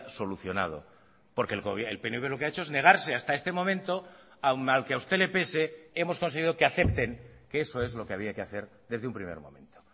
solucionado porque el pnv lo que ha hecho es negarse hasta este momento aún mal que a usted le pese hemos conseguido que acepten que eso es lo que había que hacer desde un primer momento